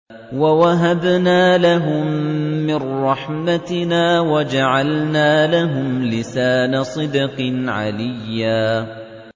وَوَهَبْنَا لَهُم مِّن رَّحْمَتِنَا وَجَعَلْنَا لَهُمْ لِسَانَ صِدْقٍ عَلِيًّا